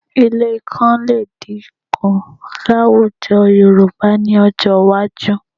Ilé ikán lè dínkù láwùjọ Yorùbá ní ọjọ́ iwájú